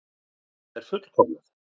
Það er fullkomnað.